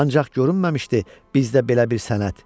Ancaq görünməmişdi bizdə belə bir sənət.